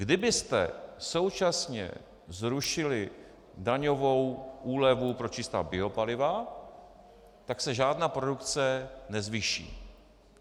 Kdybyste současně zrušili daňovou úlevu pro čistá biopaliva, tak se žádná produkce nezvýší.